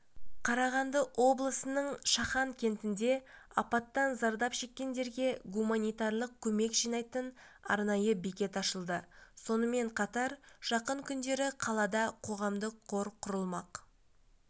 қарағанды облысының шахан кентінде апаттан зардап шеккендерге гуманитарлық көмек жинайтын арнайы бекет ашылды сонымен қатар жақын күндері қалада қоғамдық қор құрылмақ